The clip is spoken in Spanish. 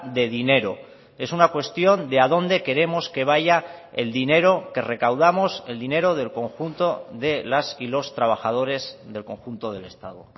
de dinero es una cuestión de a dónde queremos que vaya el dinero que recaudamos el dinero del conjunto de las y los trabajadores del conjunto del estado